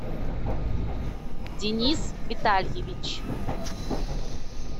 денис витальевич